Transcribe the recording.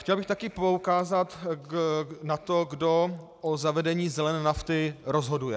Chtěl bych také poukázat na to, kdo o zavedení zelené nafty rozhoduje.